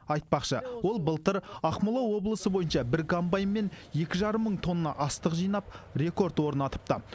айтпақшы ол былтыр ақмола облысы бойынша бір комбайнмен екі жарым мың тонна астық жинап рекорд орнатыпты